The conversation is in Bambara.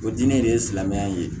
O diinɛ de ye silamɛya ye